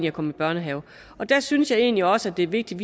at komme i børnehave der synes jeg egentlig også det er vigtigt